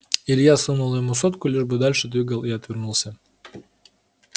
илья сунул ему сотку лишь бы дальше двигал и отвернулся